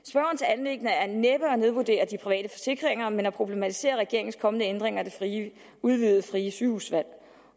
anliggende er næppe at nedvurdere de private forsikringer men at problematisere regeringens kommende ændringer af det udvidede frie sygehusvalg